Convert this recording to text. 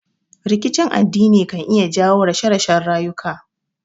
Rikicin addini kan iya jawo rashe rashen rayuka